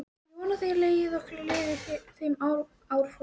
Ég vona að þér leggið okkur lið í þeim áformum.